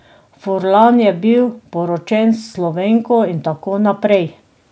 Furlan je bil poročen s Slovenko in tako naprej.